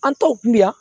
An t'o kun mi yan